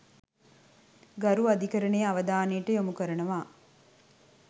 ගරු අධිකරණයේ අවධානයට යොමු කරනවා.